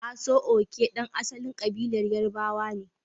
Aso-oke, ɗan asalin kabilar Yarbawa ne.